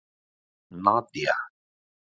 Nadía